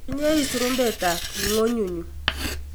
Inye ii surumbetap ng'onyunyu